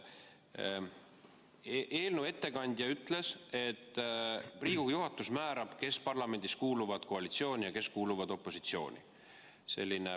Eelnõu ettekandja ütles, et Riigikogu juhatus määrab, kes parlamendis kuuluvad koalitsiooni ja kes kuuluvad opositsiooni.